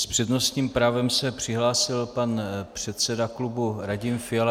S přednostním právem se přihlásil pan předseda klubu Radim Fiala.